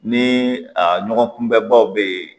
Ni a ɲɔgɔn kunbɛbaw bɛ yen